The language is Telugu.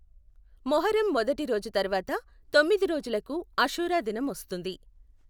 మొహర్రం మొదటి రోజు తర్వాత తొమ్మిది రోజులకు అషూరా దినం వస్తుంది.